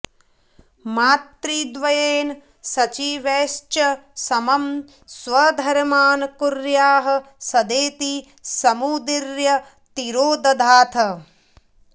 मातृद्वयेन सचिवैश्च समं स्वधर्मान् कुर्याः सदेति समुदीर्य तिरोदधाथ